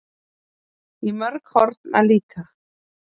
Í mörg horn að líta